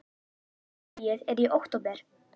Haustfríið er í október.